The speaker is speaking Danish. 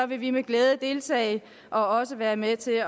vil vi med glæde deltage og være med til